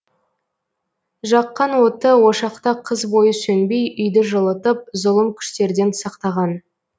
жаққан оты ошақта қыс бойы сөнбей үйді жылытып зұлым күштерден сақтаған